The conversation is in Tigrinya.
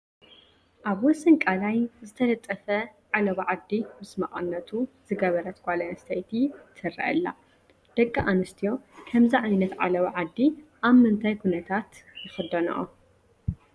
ኣብ ወሰን ቀላይ ዝተጠለፈ ዓለባ ዓዲ ምስ መቐነቱ ዝገበረት ጓል ኣነስተይቲ ትርአ ኣላ፡፡ ደቂ ኣንስትዮ ከምዚ ዓይነት ዓለባ ዓዲ ኣብ ምንታይ ኩነታት ይኽደንኦ?